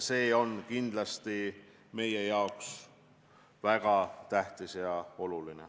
See on kindlasti meile väga tähtis ja oluline.